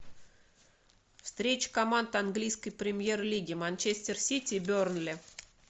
встреча команд английской премьер лиги манчестер сити и бернли